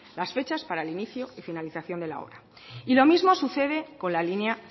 las fechas para el inicio y finalización de la obra y lo mismo sucede con la línea